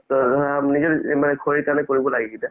অ, ধৰা নিজৰ এই মানে শৰীৰৰ কাৰণে কৰিব লাগে এইকেইটা